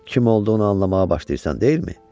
Kim olduğunu anlamağa başlayırsan, deyilmi?